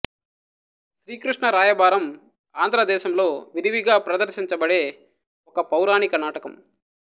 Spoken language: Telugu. శ్రీకృష్ణ రాయబారం ఆంధ్ర దేశంలో విరివిగా ప్రదర్శించబడే ఒక పౌరాణిక నాటకం